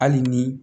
Hali ni